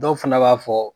Dɔw fana b'a fɔ